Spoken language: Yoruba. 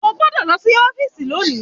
O gbọ́dọ̀ lọ sí ọ́fìsì lónìí